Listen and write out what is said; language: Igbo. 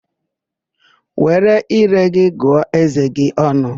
Were íré gị gụọ ézé gị ọnụ!